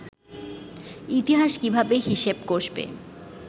ইতিহাস কীভাবে হিসেব কষবে